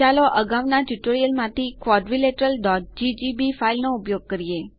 ચાલો અગાઉના ટ્યુટોરીયલમાંથી quadrilateralજીજીબી ફાઈલ નો ઉપયોગ કરીએ